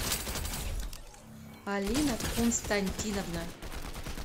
алина константиновна